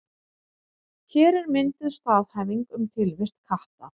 Hér er mynduð staðhæfing um tilvist katta.